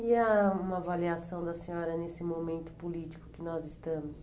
E há uma avaliação da senhora nesse momento político que nós estamos?